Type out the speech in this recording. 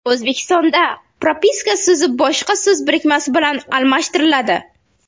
O‘zbekistonda propiska so‘zi boshqa so‘z birikmasi bilan almashtiriladi.